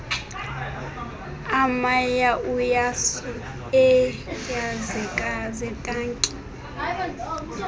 amayauyasu eentunja zetanki